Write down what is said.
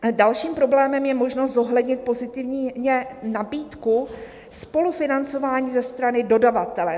"Dalším problémem je možnost zohlednit pozitivně nabídku spolufinancování ze strany dodavatele."